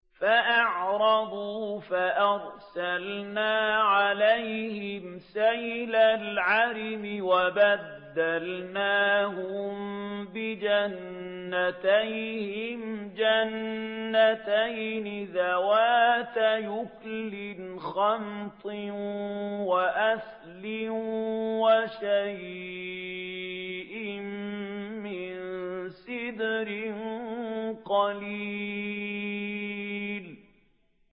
فَأَعْرَضُوا فَأَرْسَلْنَا عَلَيْهِمْ سَيْلَ الْعَرِمِ وَبَدَّلْنَاهُم بِجَنَّتَيْهِمْ جَنَّتَيْنِ ذَوَاتَيْ أُكُلٍ خَمْطٍ وَأَثْلٍ وَشَيْءٍ مِّن سِدْرٍ قَلِيلٍ